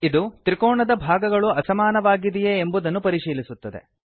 ಇದು ತ್ರಿಕೋಣದ ಭಾಗಗಳು ಅಸಮಾನವಾಗಿದೆಯೇ ಎಂಬುದನ್ನು ಪರಿಶೀಲಿಸುತ್ತದೆ